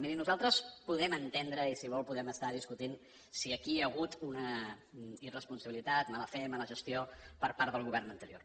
miri nosaltres podem entendre i si vol podem estar discutint si aquí hi ha hagut una irresponsabilitat mala fe mala gestió per part del govern anterior